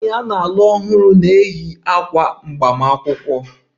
A ga-eyi ákwà agbamakwụkwọ site na nwanyị na-alụ ọhụrụ